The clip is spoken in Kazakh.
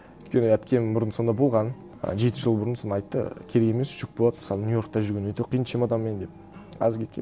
өйткені әпкем бұрын сонда болған ы жеті жыл бұрын сонда айтты керек емес жүк болады мысалы нью йоркта жүрген өте қиын чемоданмен деп аз кеткенмін